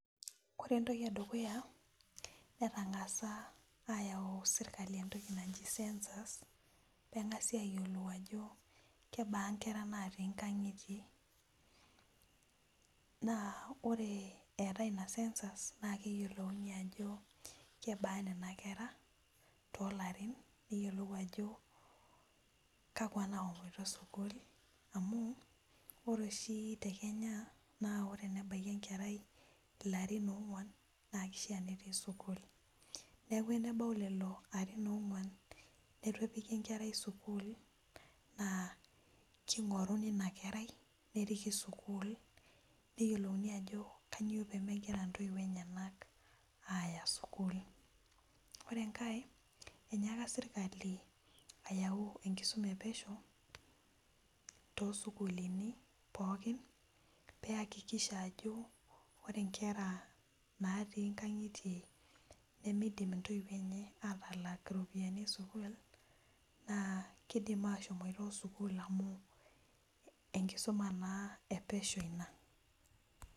Koree entoki edukuya netangasa serkali ayau entoki naji census pengasi ayiolou ajo kebaa nkera natii nkangitie na ore eetae ina na keyiolouni ajo kebaa nkera natii nkaangitie tokarin neyiolou ajo kakwa nashomoita sukul amu ore oshi tekenya na enebaki enkerai na kishaa netii sukul neaku enebah lolo arin onguan nituepiki enkerai sukul na kingoruni inakerai nepiki sukul neyiolounj ajo kwnyio pemegira ntoiwuo enyenak aya sukul ore enkae inyiaka serkali ayau enkisuma epeshi to sukulini pookin piakikisha ajo ore nkera pookin natii nkangitie nemeidim ntoiwuo enye atalak ropiyani esukul kidim ashomoita sukul enkisuma na epeshi ina.